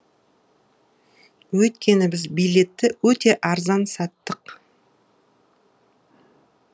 өйткені біз билетті өте арзан саттық